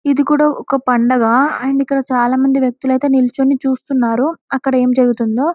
ఇది కూడా ఒక పండగ అంటే ఇక్కడ చాలామంది వ్యక్తులైతే నిలుచుని చూస్తున్నారు అక్కడ ఏం జరుగుతుందో.